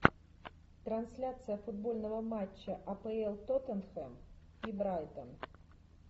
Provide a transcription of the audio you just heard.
трансляция футбольного матча апл тоттенхэм и брайтон